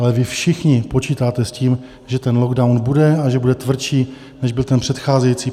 Ale vy všichni počítáte s tím, že ten lockdown bude a že bude tvrdší, než byl ten předcházející.